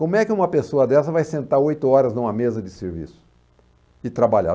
Como é que uma pessoa dessa vai sentar oito horas numa mesa de serviço e trabalhar?